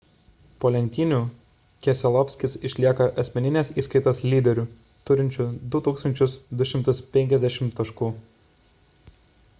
po lenktynių keselowskis išlieka asmeninės įskaitos lyderiu turinčiu 2 250 taškų